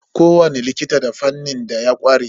Ko wani likita da fannin da ya ƙware.